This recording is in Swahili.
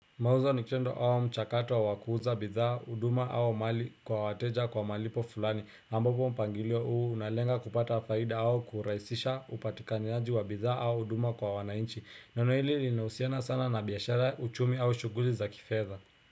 Mauzo ni tendo au mchakato wa kuuza bidhaa, huduma au mali kwa wateja kwa malipo fulani ambapo mpangilio huu unalenga kupata faida au kurahisisha upatikanaji wa bidhaa au huduma kwa wananchi. Neno hili linahusiana sana na biashara, uchumi au shughuli za kifedha.